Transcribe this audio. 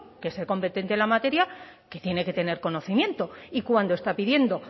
que es el competente en la materia que tiene que tener conocimiento y cuando está pidiendo